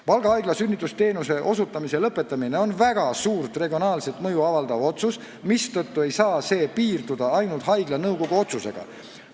Valga Haigla sünnitusabiteenuse osutamise lõpetamine on väga suurt regionaalset mõju avaldav otsus, mistõttu ei saa see piirduda ainult haigla nõukogu otsusega.